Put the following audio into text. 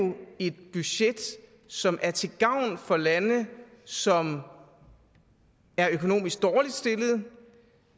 et budget som er til gavn for lande som er økonomisk dårligt stillede og